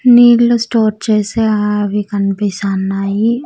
నీళ్లు స్టోర్ చేసే అవి కనిపిస్తున్నాయి.